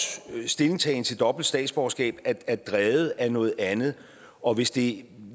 stillingtagen til dobbelt statsborgerskab er drevet af noget andet og hvis det